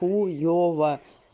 хуёва